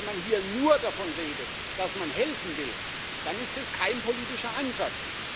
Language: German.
Wenn man hier nur davon redet, dass man helfen will, dann ist das kein politischer Ansatz.